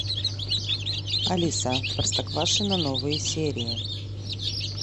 алиса простоквашино новые серии